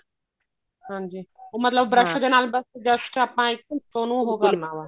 ਹਾਂਜੀ ਉਹ ਮਤਲਬ brush ਦੇ ਨਾਲ ਬੱਸ just ਆਪਾਂ ਉਹਨੂੰ ਉਹ ਕਰਨਾ ਬੱਸ